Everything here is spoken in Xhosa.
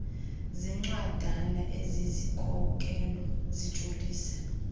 zencwadana ezizikhokelo zijolise